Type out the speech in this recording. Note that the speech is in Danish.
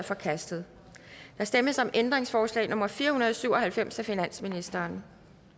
forkastet der stemmes om ændringsforslag nummer fire hundrede og syv og halvfems af finansministeren